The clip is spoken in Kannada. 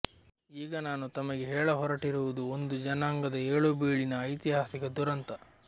ಈಗ ನಾನು ತಮಗೆ ಹೇಳಹೊರಟಿರುವುದು ಒಂದು ಜನಾಂಗದ ಏಳುಬೀಳಿನ ಐತಿಹಾಸಿಕ ದುರಂತ